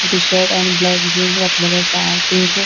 T shirt and black jeans घातलेले आसा तेन्चे--